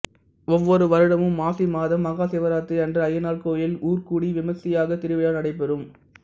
ஒவ்வொரு வருடமும் மாசி மாதம் மஹாசிவராத்திரி அன்று ஐயனார் கோயிலில் ஊர்கூடி விமர்சியாக திருவிழா நடைபெறும்